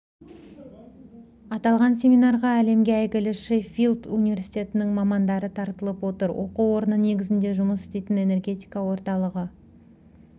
аталған семинарға әлемге әйгілі шеффилд университетінің мамандары тартылып отыр оқу орны негізінде жұмыс істейтін энергетика орталығы